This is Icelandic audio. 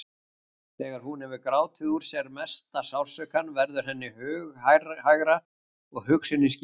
Þegar hún hefur grátið úr sér mesta sársaukann verður henni hughægra og hugsunin skýrist.